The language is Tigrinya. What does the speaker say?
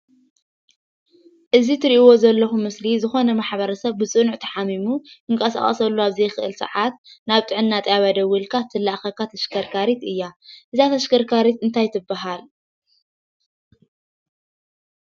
እዚ ትሪእዎ ዘለኹም ምስሊ ዝኾነ ማሕበረሰብ ብፅኑዕ እንተሓሚሙ ክንቀሳቐሰሉ ኣብ ዘይኽእል ሰዓት ናብ ጥዕና ጣብያ ደዊልካ ትለኣኸልካ ተሽከርካሪት እያ፡፡ እዛ ተሽከርካሪት እንታይ ትበሃል?